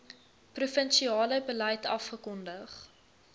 provinsiale beleid afgekondig